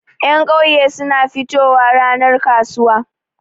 Ƴan ƙauye suna fitowa ranar kasuwa.